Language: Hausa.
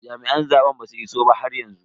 Jami'an zaben basu iso ba haryanzu.